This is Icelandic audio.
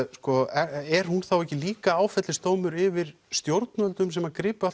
er hún þá ekki líka áfellisdómur yfir stjórnvöldum sem að gripu